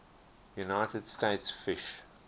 united states fish